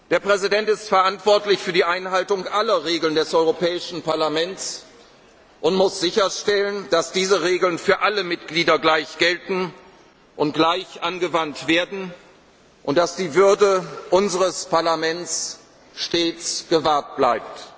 danken. Der Präsident ist verantwortlich für die Einhaltung aller Regeln des Europäischen Parlaments und muss sicherstellen, dass diese Regeln für alle Mitglieder gleich gelten und gleich angewandt werden, und dass die Würde unseres Parlaments stets gewahrt